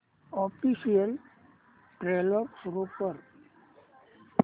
official trailer सुरू कर